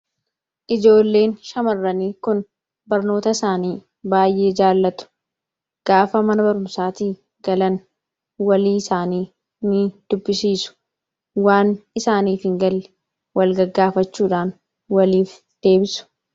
Ijoolleen shamarranii kun barnoota isaanii baay'ee jaallatu. Gaafa mana barumsaatii galan walii isaanii ni dubbisiisu. Waan isaaniif hin galle wal gaggaafachuudhaan waliif deebisu.